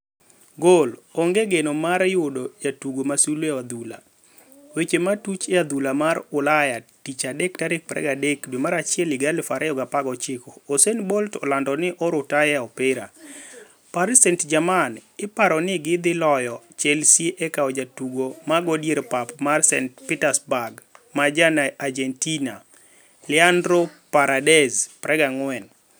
(Goal) 'Onge geno' mar yudo jatugo ma sulwe e adhula. Weche matuch e adhul mar Ulayatich adek 23.01.2019 Usain Bolt olando ni orutaya e opira ' Paris St-Germain iparo nigi dhi loyo Chelsea e kawo jatugo mago dier pap mar Zenit St Petersburg ma ja Argentina Leandro Paredes, 24.